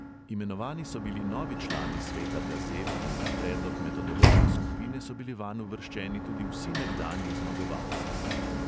Imenovani so bili novi člani sveta gazel in na predlog metodološke skupine so bili vanj uvrščeni tudi vsi nekdanji zmagovalci.